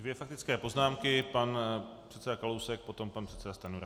Dvě faktické poznámky - pan předseda Kalousek, potom pan předseda Stanjura.